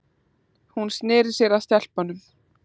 Hún sneri sér að stelpunum.